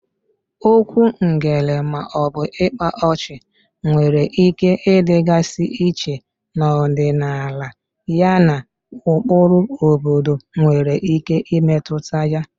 Okwu ngele/ịkpa ọchị nwere ike ịdịgasị iche n'ọdịnala yana ụkpụrụ obodo nwere ike imetụta ya.